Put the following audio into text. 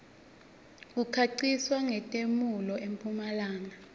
kukhanqiswa nqetemuelo empumlanga